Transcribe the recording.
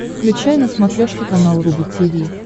включай на смотрешке канал рубль ти ви